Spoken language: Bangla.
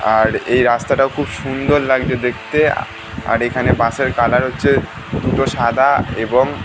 আর এই রাস্তাটাও খুব সুন্দর লাগছে দেখতে আর এখানে বাসের কালার হচ্ছে দুটো সাদা এবং --